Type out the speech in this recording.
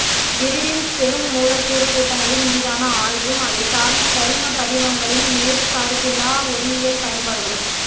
pyridine பெருமூலக்கூறு கூட்டங்களின் மீதான ஆய்வும் அதை சார்ந்த கரிம படிகங்களின் நேர்சார்பிலா ஒளியியல் பயன்பாடுகளும்